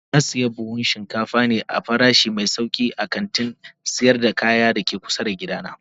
Na sayi buhun shinkafa ne a farashi mai sauki a kantin sayar da kaya da ke kusa da gidana.